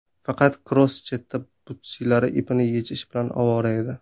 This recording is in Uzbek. Faqat Kroos chetda butsilari ipini yechish bilan ovora edi.